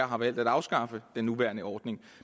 har valgt at afskaffe den nuværende ordning